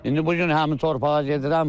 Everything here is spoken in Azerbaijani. İndi bu gün həmin torpağa gedirəm.